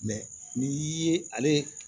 ni ye ale